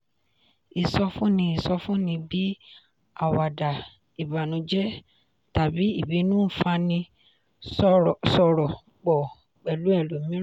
ìsọfúnni ìsọfúnni bíi àwàdà ìbànújẹ́ tàbí ìbínú ń fani sọ̀rọ̀ pọ̀ pẹ̀lú ẹlòmíràn.